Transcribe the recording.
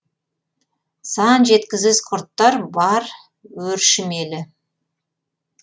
сан жеткісіз құрттар бар өршімелі